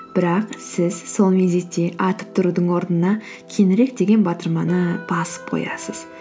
бірақ сіз сол мезетте атып тұрудың орнына кейінірек деген батырманы басып қоясыз